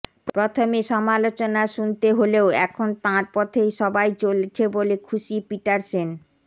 প্রথমে সমালোচনা শুনতে হলেও এখন তাঁর পথে সবাই চলছে বলে খুশি পিটারসেন